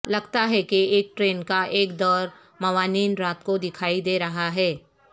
لگتا ہے کہ ایک ٹرین کا ایک دور موانین رات کو دکھائی دے رہا ہے